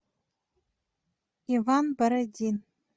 иван бородин